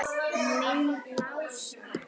Minn Lása?